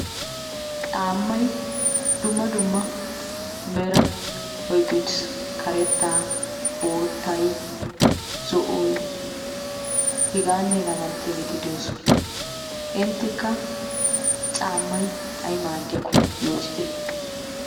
Caammay dumma dumma meraa oyqqi uttis. Karettaa, boottay, zo"oy hegaanne hegaa malatiyaageeti de'oosona. Inttekka caammay ay maaddiyaakko yootite.